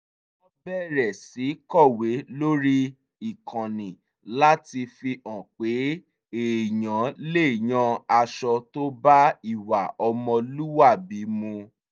wọ́n bẹ̀rẹ̀ sí kọ̀wé lórí ìkànnì láti fi hàn pé èèyàn lè yan aṣọ tó bá ìwà ọmọlúwàbí mu